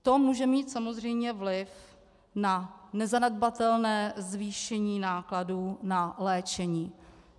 To může mít samozřejmě vliv na nezanedbatelné zvýšení nákladů na léčení.